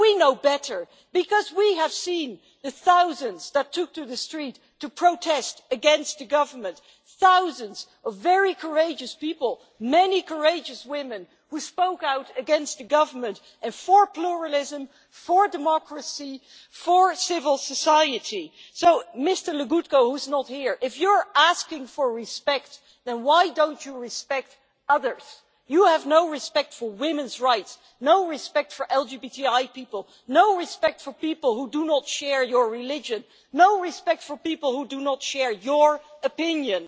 We know better, because we have seen the thousands who took to the streets to protest against the government thousands of very courageous people, many courageous women who spoke out against the government and for pluralism, for democracy, and for civil society. So, Mr Legutko who is not here if you are asking for respect, then why do you not respect others? You have no respect for women's rights, no respect for LGBTI people, no respect for people who do not share your religion, and no respect for people who do not share your opinion.